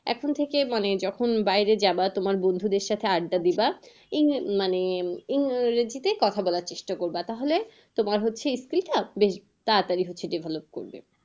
এখন থেকে মানে যখন বাইরে যাবা তোমার বন্ধুদের সাথে আড্ডা দিবা এই মানে এই ইংরেজিতেই কথা বলার চেষ্টা করবা। তাহলে তোমার হচ্ছে skill ও আসবে তাড়া তাড়ি হচ্ছে develop করবে।